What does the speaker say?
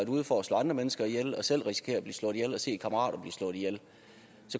ud for at slå andre mennesker ihjel og selv har risikeret at blive slået ihjel og set kammerater blive slået ihjel